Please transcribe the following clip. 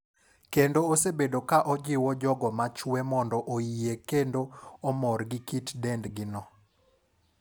kendo osebedo ka ojiwo jogo machwe mondo oyie kendo omor gi kit dendgi no.